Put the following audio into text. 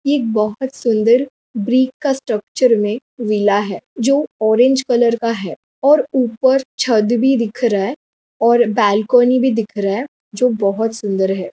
एक बहुत सुन्दर ब्रेक का स्ट्रक्चर में मिला है जो ऑरेंज कलर का है और ऊपर छत भी दिख रहा है और बालकनी भी दिख रहा है जो बहुत सुन्दर हैं।